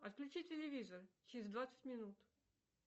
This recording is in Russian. отключи телевизор через двадцать минут